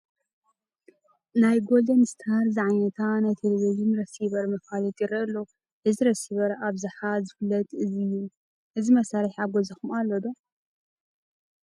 ናይ ጐልደንስታር ዝዓይነታ ናይ ቴለብዥን ረሲቨር መፋለጢ ይርአ ኣሎ፡፡ እዚ ረሲቨር ብኣብዝሓ ዝፍለጥ እዩ፡፡ እዚ መሳርሒ ኣብ ገዛኹም ኣሎ ዶ?